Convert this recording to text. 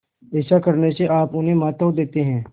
ऐसा करने से आप उन्हें महत्व देते हैं